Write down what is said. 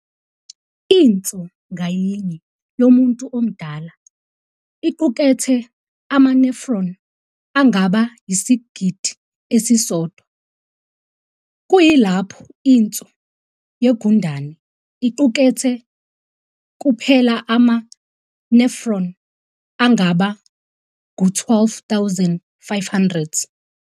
Inso ngayinye yomuntu omdala iqukethe ama-nephron angaba yisigidi esisodwa, kuyilapho inso yegundane iqukethe kuphela ama-nefron angaba ngu-12,500.